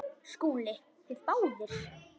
SKÚLI: Þið báðir?